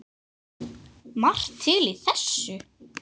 Margt til í þessu.